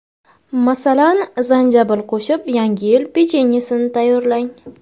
Masalan, zanjabil qo‘shib, Yangi yil pechenyesini tayyorlang.